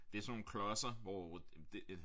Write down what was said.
Det er sådan nogle klodser hvor det